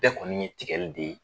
Bɛɛ kɔni ye tigɛli de ye